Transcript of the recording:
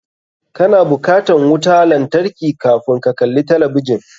Ka na bukatan wuta lantarki kafun ka kalli talabijin.